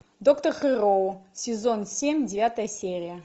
доктор хэрроу сезон семь девятая серия